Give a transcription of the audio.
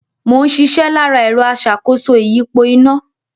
Mò ń ṣiṣẹ́ lára ẹ̀rọ aṣàkóso ìyípo iná